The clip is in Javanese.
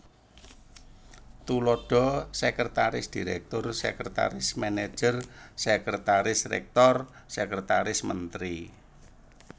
Tuladha Sekretaris Direktur Sekretaris Manajer Sekretaris Rektor Sekretaris Menteri